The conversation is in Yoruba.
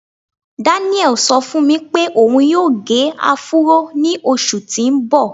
Daniel ṣọ fún mi pé òun yóò gẹ áfúró ní oṣù tí ń bọ̀.